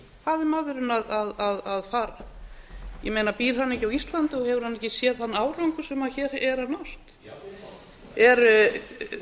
betri hvað er maðurinn að fara ég meina býr hann ekki á íslandi og hefur hann ekki séð þann árangur sem hér er